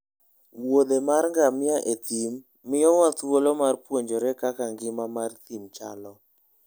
wuodhe mar ngamia e thim miyowa thuolo mar puonjore kaka ngima mar thim chalo.